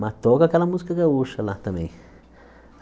Mas toca aquela música gaúcha lá também.